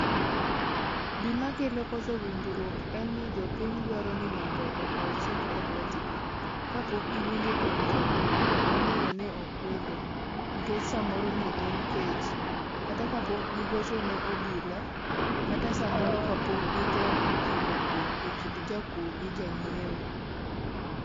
Gima koso kelo winjruok en ni jopiny dwaro ni mondo okaw chik elwetgi, kapok giwinjo kar jakuo momiyo ne okwelo. Nikech samoro ne en kech, kata kapok gigocho ne obila, kata samoro kapok gitemo kelo kwe ekind jakuo gi jang'iewo.